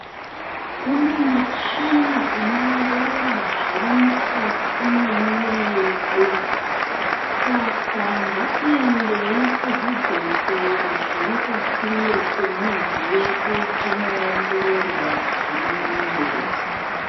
Kune mishina ino ongorora zviri mukati mwemuwiri yedu skaa ngatiendei kuzvibhedhlera zviri pasinde pemizi yedu tinoongororwa zviri mumuwiri.